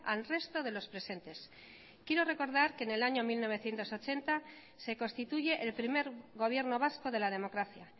al resto de los presentes quiero recordar que en el año mil novecientos ochenta se constituye el primer gobierno vasco de la democracia